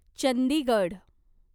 Chandigarh